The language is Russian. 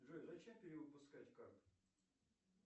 джой зачем перевыпускать карту